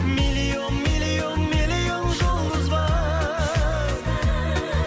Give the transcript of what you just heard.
миллион миллион миллион жұлдыз бар